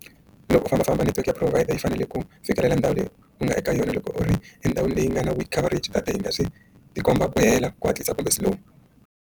Loko u fambafamba network ya provider yi fanele ku fikelela ndhawu leyi ku nga eka yona loko u ri endhawini leyi nga na coverage data yi nga swi ti komba ku hela ku hatlisa kumbe cellphone.